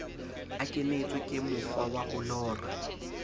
a kenetswe ke mokgwawa holora